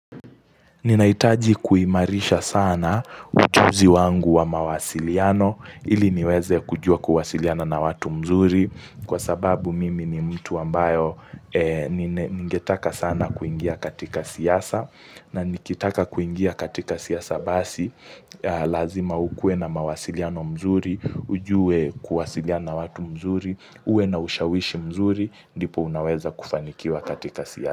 Ninahitaji kuimarisha sana ujuzi wangu wa mawasiliano, ili niweze kujua kuwasiliana na watu mzuri, kwa sababu mimi ni mtu ambayo ningetaka sana kuingia katika siasa, na nikitaka kuingia katika siasa basi, lazima ukue na mawasiliano mzuri, ujue kuwasiliana na watu mzuri, uwe na ushawishi mzuri, ndipo unaweza kufanikiwa katika siasa.